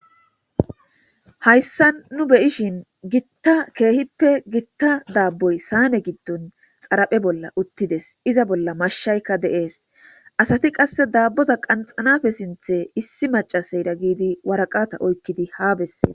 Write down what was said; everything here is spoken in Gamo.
hayssa nu beyishin gitta keehippe gitta daabboy saane giddon xaraphe bolla uttides iza bolla mashshaykka deees asati qasse daabboza qanxanafe sinthe issi macaseyda giidi waraqata oykkidi haa bessee